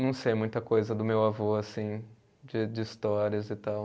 Não sei muita coisa do meu avô, assim, de de histórias e tal.